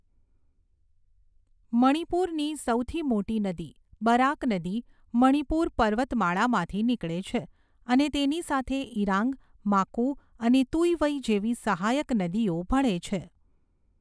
મણિપુરની સૌથી મોટી નદી, બરાક નદી મણિપુર પર્વતમાળામાંથી નીકળે છે અને તેની સાથે ઈરાંગ, માકુ અને તુઈવઈ જેવી સહાયક નદીઓ ભળે છે.